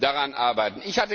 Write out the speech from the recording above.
wir daran arbeiten.